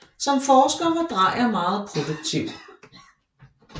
Som forsker var Drejer meget produktiv